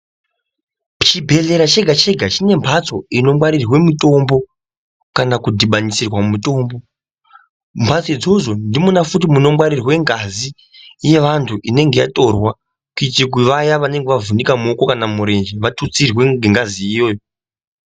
Chibhedhlera chega chega chine mbatso inongwarirwe mutombo kana kudhibanisirwa mutombo mbatso idzodzo ndimona futhi munongwarirwe ngazi inenge yatorwa kututsirwe vaya vanenge vavhunika muoko kana murenje vatutsigwe ngengazi iyoyo.